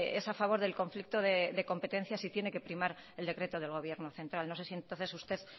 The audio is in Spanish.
es a favor del conflicto de competencia si tiene que primar el decreto del gobierno central no sé si entonces usted